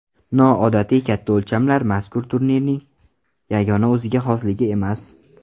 Noodatiy katta o‘lchamlar mazkur turning yagona o‘ziga xosligi emas.